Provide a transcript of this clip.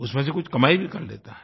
उसमें से कुछ कमाई भी कर लेता है